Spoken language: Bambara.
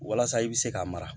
Walasa i bɛ se ka mara